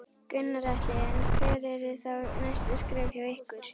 Gunnar Atli: En hver eru þá næstu skref hjá ykkur?